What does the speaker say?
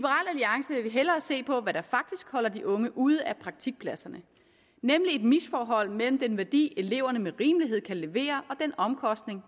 hellere se på hvad der faktisk holder de unge ude af praktikpladserne nemlig et misforhold mellem den værdi eleverne med rimelighed kan levere og den omkostning